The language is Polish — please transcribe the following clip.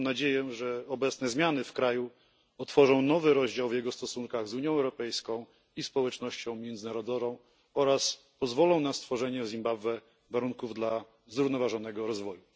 Mam nadzieję, że obecne zmiany w kraju otworzą nowy rozdział w jego stosunkach z Unią Europejską i społecznością międzynarodową oraz pozwolą na stworzenie w Zimbabwe warunków dla zrównoważonego rozwoju.